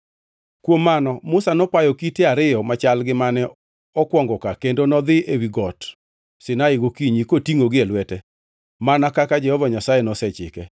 Kuom mano Musa nopayo kite ariyo machal gi mane okwongo ka kendo nodhi ewi Got Sinai gokinyi kotingʼogi e lwete mana kaka Jehova Nyasaye nosechike.